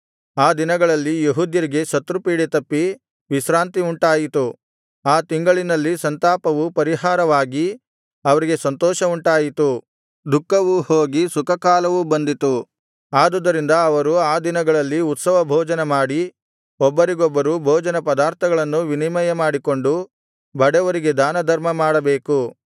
ಆ ದಿನಗಳಲ್ಲಿ ಯೆಹೂದ್ಯರಿಗೆ ಶತ್ರುಪೀಡೆ ತಪ್ಪಿ ವಿಶ್ರಾಂತಿ ಉಂಟಾಯಿತು ಆ ತಿಂಗಳಿನಲ್ಲಿ ಸಂತಾಪವು ಪರಿಹಾರವಾಗಿ ಅವರಿಗೆ ಸಂತೋಷವುಂಟಾಯಿತು ದುಃಖವು ಹೋಗಿ ಸುಖಕಾಲವು ಬಂದಿತು ಆದುದರಿಂದ ಅವರು ಆ ದಿನಗಳಲ್ಲಿ ಉತ್ಸವಭೋಜನ ಮಾಡಿ ಒಬ್ಬರಿಗೊಬ್ಬರು ಭೋಜನ ಪದಾರ್ಥಗಳನ್ನು ವಿನಿಮಯ ಮಾಡಿಕೊಂಡು ಬಡವರಿಗೆ ದಾನಧರ್ಮ ಮಾಡಬೇಕು